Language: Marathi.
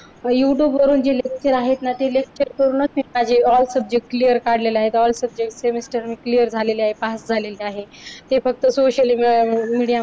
youtube वरूनच जी lecture आहेत ती lecture करूनच मी माझे all subject clear काढलेले आहेत. all subject semester मी clear झालेले आहे पास झालेले आहे ते फक्त social media मुळे